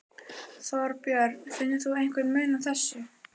Þorbjörn: Finnur þú einhvern mun á þessu?